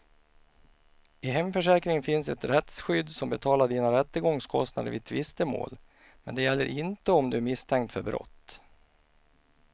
I hemförsäkringen finns ett rättsskydd som betalar dina rättegångskostnader vid tvistemål, men det gäller inte om du är misstänkt för brott.